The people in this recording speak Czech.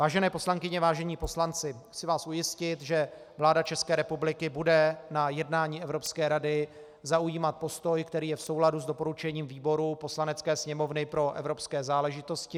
Vážené poslankyně, vážení poslanci, chci vás ujistit, že vláda České republiky bude na jednání Evropské rady zaujímat postoj, který je v souladu s doporučením výboru Poslanecké sněmovny pro evropské záležitosti.